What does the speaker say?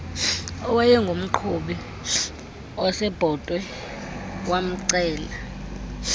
owayengumqhubi wasebhotwe wamcela